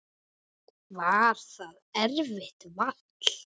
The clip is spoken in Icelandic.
Var það erfitt vall?